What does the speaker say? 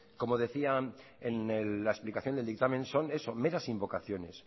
como decía en la explicación del dictamen son esos meras invocaciones